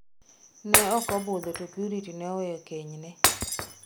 Ne ok obudho to Purity ne oweyo kenyne.